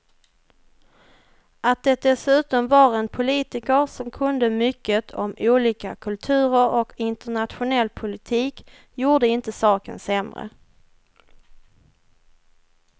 Att det dessutom var en politiker som kunde mycket om olika kulturer och internationell politik gjorde inte saken sämre.